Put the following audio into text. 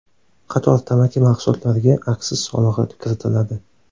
Qator tamaki mahsulotlariga aksiz solig‘i kiritiladi.